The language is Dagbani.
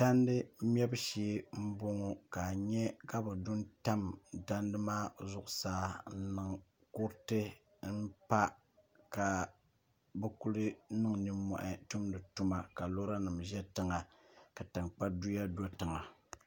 tandi mɛbu shee n boŋo ka a nyɛ ka bi du n tam tadi maa zuɣusaa m zaŋ kuriti n pa ka bi kuli niŋ nommohi tumdi tuma ka lora nim ʒɛ tiŋa ka tankpa duya do tiŋa